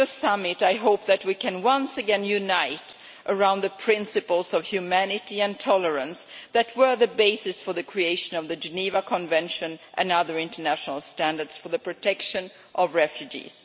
During the summit I hope that we can once again unite around the principles of humanity and tolerance that were the basis for the creation of the Geneva Convention and other international standards for the protection of refugees.